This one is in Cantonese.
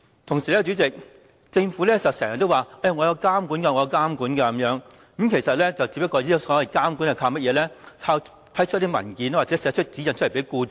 同時，主席，政府經常說有監管，所謂的監管只不過是批出文件或發指引給僱主。